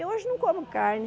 Eu hoje eu não como carne.